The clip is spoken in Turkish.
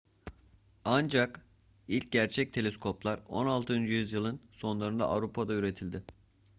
ancak ilk gerçek teleskoplar 16. yüzyılın sonlarında avrupa'da üretildi